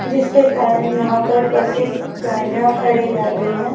जिसके कारण यहां पर बसेस गाड़ियां खड़ी रह गई है।